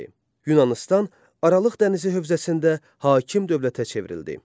Yunanıstan Aralıq dənizi hövzəsində hakim dövlətə çevrildi.